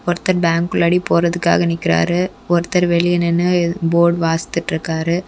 ஒருத்தர் பேங்க் உள்ள போறதுக்கு நிக்கிறாரு ஒருத்தர் வெளியில நின்னு போர்டு வாசிச்சிட்டு இருக்காரு.